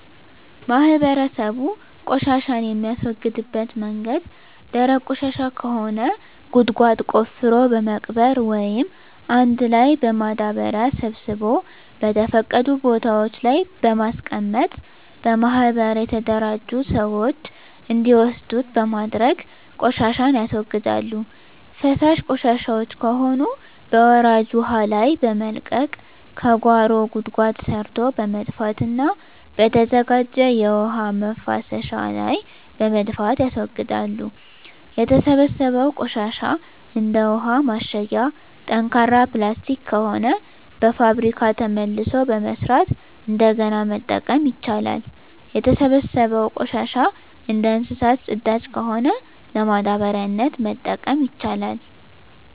ማህበረሰቡ ቆሻሻን የሚያስወግድበት መንገድ ደረቅ ቆሻሻ ከሆነ ጉድጓድ ቆፍሮ በመቅበር ወይም አንድ ላይ በማዳበሪያ ሰብስቦ በተፈቀዱ ቦታወች ላይ በማስቀመጥ በማህበር የተደራጁ ስዎች እንዲወስዱት በማድረግ ቆሻሻን ያስወግዳሉ። ፈሳሽ ቆሻሻወች ከሆኑ በወራጅ ውሀ ላይ በመልቀቅ ከጓሮ ጉድጓድ ሰርቶ በመድፋትና በተዘጋጀ የውሀ መፍሰሻ ላይ በመድፋት ያስወግዳሉ። የተሰበሰበው ቆሻሻ እንደ ውሀ ማሸጊያ ጠንካራ ፕላስቲክ ከሆነ በፋብሪካ መልሶ በመስራት እንደገና መጠቀም ይቻላል። የተሰበሰበው ቆሻሻ እንደ እንሰሳት ፅዳጅ ከሆነ ለማዳበሪያነት መጠቀም ይቻላል።